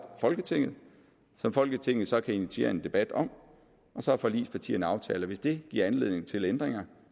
folketinget og som folketinget så kan initiere en debat om og så har forligspartierne aftalt at hvis det giver anledning til ændringer